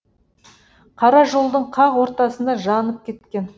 қара жолдың қақ ортасында жанып кеткен